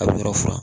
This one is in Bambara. A bɛ yɔrɔ furan